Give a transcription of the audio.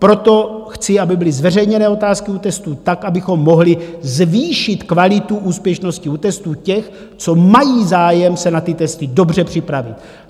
Proto chci, aby byly zveřejněné otázky u testů tak, abychom mohli zvýšit kvalitu úspěšnosti u testů těch, co mají zájem se na ty testy dobře připravit.